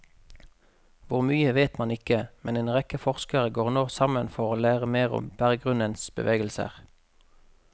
Hvor mye vet man ikke, men en rekke forskere går nå sammen for å lære mer om berggrunnens bevegelser.